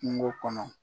Kungo kɔnɔ